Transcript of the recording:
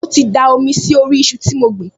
Mo ti da omi sí orí iṣu tí mo gbìn